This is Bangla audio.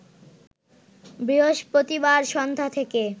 বৃহস্পতিবার সন্ধ্যা থেকে